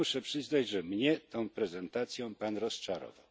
Ja muszę przyznać, że mnie tą prezentacją Pan rozczarował.